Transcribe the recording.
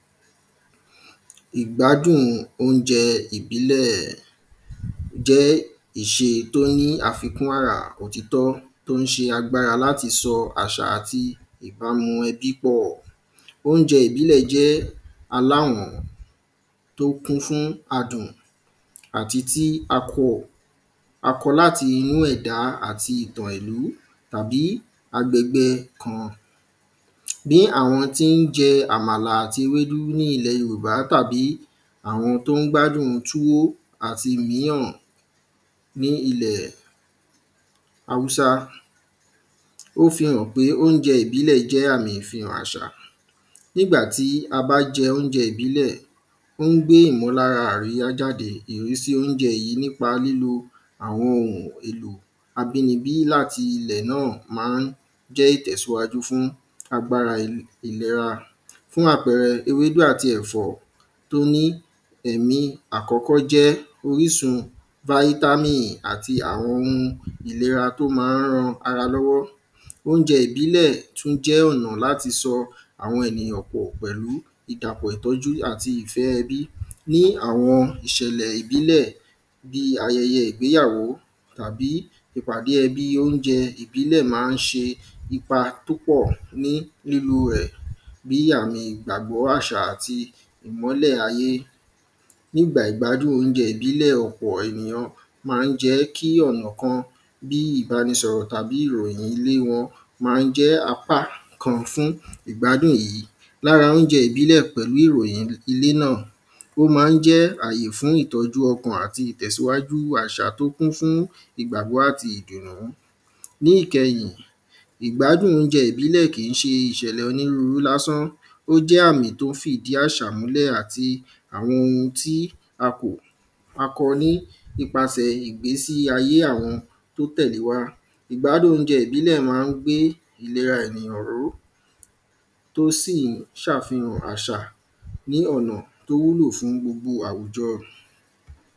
Ìgbádùn óúnjẹ ìbílẹ̀ jẹ́ ìṣe tó ní àfikún ara òtítọ́ tó ń ṣe agbára láti sọ àṣà àti ìbámu ẹbí pọ̀. Ìgbádùn óúnjẹ ìbílẹ̀ aláwọ́n tó kún fún adùn àti tí a kò a kó láti inú ẹ̀dá àti ìtò èlú tàbí agbègbè kan. Bí àwọn tí ń jẹ àmàlà àti ewédú ní ilẹ̀ yorùbá tàbí àwọn tó ń gbádùn túwó àti ìmíràn ní ilẹ̀ háúsá ó fi hàn pé óúnjẹ ìbílẹ̀ jẹ́ àmì ìfihàn àṣà. Nígbàtí a bá jẹ óúnjẹ ìbílẹ̀ ó ń gbé ìmúlára àríyá jáde ìrísí óúnjẹ yìí nípa lílo àwọn ohun èlò abínibí láti ilẹ̀ náà má ń jẹ́ ìtẹ̀síwájú fún agbára ìlera fún àpẹrẹ ewédú àti ẹ̀fọ́ tó ní ẹ̀mí àkọ́kọ́ jẹ́ orísun vítámì àti àwọn ohun tó má ń ran ìlera lọ́wọ́. Óúnjẹ ìbílẹ̀ tún jẹ́ ọ̀nà láti sọ àwọn ènìyàn pọ̀ pẹ̀lú ìdàpọ̀ àti ìtọ́jú ẹbí bí àwọn ìṣẹ̀lẹ̀ ìbílẹ̀ bí ayẹyẹ ìgbéyàwó tàbí tàbí ẹbí óúnjẹ ìbílẹ̀ má ń ṣe ipa tó pọ̀ ní lílú ẹ̀ bí àmì ìgbàgbọ́ àṣà àti ìmọ́lẹ̀ ayé Gbígba ìgbádùn óúnjẹ ìbílẹ̀ ọ̀pọ̀ ènìyàn má ń jẹ́ kí ọ̀nà kan bí ìbánisọ̀rọ̀ tàbí ìròyìn lé wọn má ń jẹ́ apá kan fún ìgbádùn yìí. Lára óúnjẹ ìbílẹ̀ pẹ̀lú ìròyìn ilé náà ó má ń jẹ́ àyè fún ìtọ́jú ọkàn àti ìtẹ̀síwájú àṣà tó kún fún ìgbàgbọ́ àti ìdìrọ̀ mú. Ní ìkẹyìn ìgbádùn óúnjẹ ìbílẹ̀ kìí ṣe ìṣẹ̀lẹ̀ onírúrú lásán ó jẹ́ àmí tó fìdí àṣà múlẹ̀ àti àwọn ohun tí a kọ ní ipasẹ̀ ìgbésí ayé àwọn tí ó tẹ̀lé wá ìgbádùn óúnjẹ ìbílẹ̀ má ń gbé ìlera ènìyàn ró ó ṣì ń ṣàfihàn àṣà ní ọ̀nà tó wúlò fún gbogbo àwùjọ.